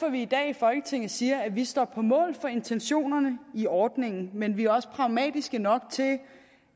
at vi i dag i folketinget siger at vi står på mål for intentionerne i ordningen men vi er også pragmatiske nok til